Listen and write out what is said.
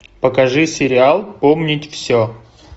покажи сериал помнить все